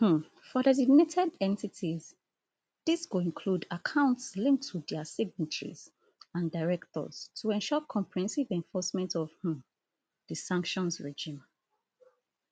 um for designated entities dis go include accounts linked to dia signatories and directors to ensure comprehensive enforcement of um di sanctions regime